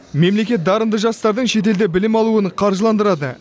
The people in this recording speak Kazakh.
мемлекет дарынды жастардың шетелде білім алуын қаржыландырады